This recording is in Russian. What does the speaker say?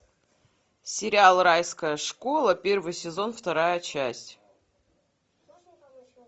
сериал райская школа первый сезон вторая часть